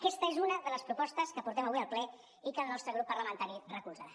aquesta és una de les propostes que portem avui al ple i que el nostre grup parlamentari recolzarà